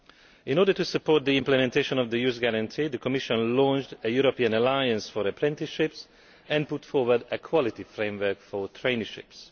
In order to support the implementation of the Youth Guarantee, the Commission launched a European alliance for apprenticeships and put forward a quality framework for traineeships.